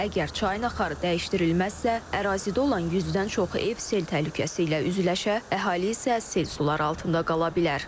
Əgər çayın axarı dəyişdirilməzsə, ərazidə olan 100-dən çox ev sel təhlükəsi ilə üzləşə, əhali isə sel suları altında qala bilər.